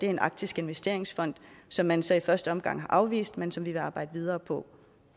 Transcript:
en arktisk investeringsfond som man så i første omgang har afvist men som vi vil arbejde videre på